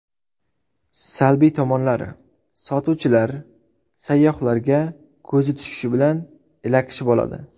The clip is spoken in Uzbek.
Salbiy tomonlari: sotuvchilar, sayyohlarga ko‘zi tushishi bilan, ilakishib oladi.